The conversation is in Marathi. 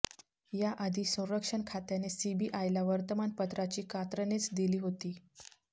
याआधी संरक्षण खात्याने सीबीआयला वर्तमानपत्राची कात्रणेच दिली होती